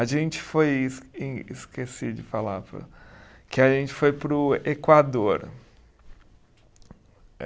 A gente foi, es em esqueci de falar, que a gente foi para o Equador.